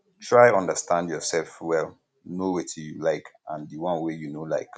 try understand your self well know wetin you like and di one wey you no like